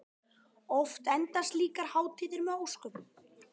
Oft enda slíkar hátíðir með ósköpum.